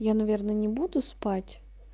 я наверное не буду спать